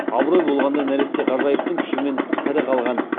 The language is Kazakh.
абырой болғанда нәресте ғажайыптың күшімен тірі қалған